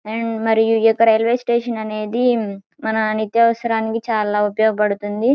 And మరియు ఈ యొక్క రైల్వే స్టేషన్ అనేది మన నిత్యసరాలకు చల ఉపయోగపడుతుంది.